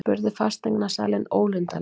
spurði fasteignasalinn ólundarlega.